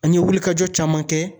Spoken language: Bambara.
An ye wulikajɔ caman kɛ.